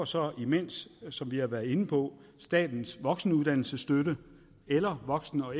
så imens som vi har været inde på statens voksenuddannelsesstøtte eller voksen og